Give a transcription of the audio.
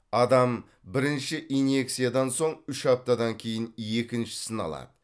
адам бірінші инъекциядан соң үш аптадан кейін екіншісін алады